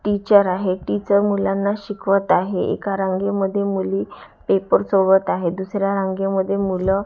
teacher आहे teacher मुलांना शिकवत आहे एका रांगेमध्ये मुली पेपर सोडवत आहेत दुसऱ्या रांगेमध्ये मुलं--